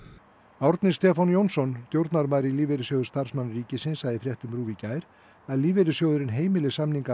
Árni Stefán Jónsson stjórnarmaður í Lífeyrissjóði starfsmanna ríkisins sagði í fréttum RÚV í gær að lífeyrissjóðurinn heimili samninga af